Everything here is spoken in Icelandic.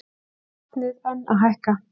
Vatnið enn að hækka